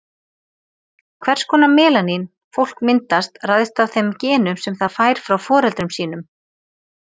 Hvers konar melanín fólk myndast ræðst af þeim genum sem það fær frá foreldrum sínum.